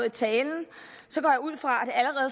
i talen går jeg ud fra